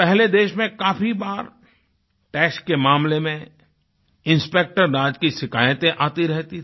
पहले देश में काफ़ी बार टैक्स के मामले में इंस्पेक्टरराज की शिकायतें आती रहती थी